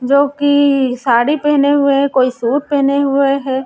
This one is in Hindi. जो की साड़ी पहने हुए है कोई सूट पहने हुए है।